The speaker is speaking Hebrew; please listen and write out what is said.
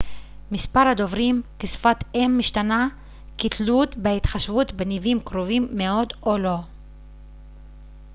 מספר הדוברים כשפת אם משתנה כתלות בהתחשבות בניבים קרובים מאוד או לא